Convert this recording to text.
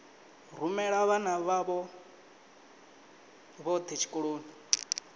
rumela vhana vhavho vhothe tshikoloni